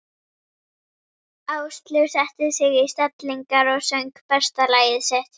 Áslaug setti sig í stellingar og söng besta lagið sitt.